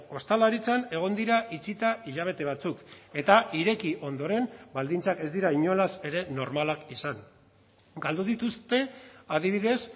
ostalaritzan egon dira itxita hilabete batzuk eta ireki ondoren baldintzak ez dira inolaz ere normalak izan galdu dituzte adibidez